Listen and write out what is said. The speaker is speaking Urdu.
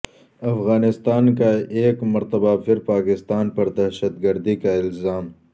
افغانستان کا ایک مرتبہ پھر پاکستان پر دہشت گردی کا الزام